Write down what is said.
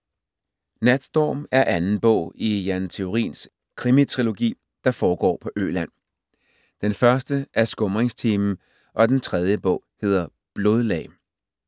Natstorm er anden bog i Jan Theorins krimitrilogi, der foregår på Øland. Den første er Skumringstimen og den tredje bog hedder Blodlag.